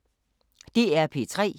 DR P3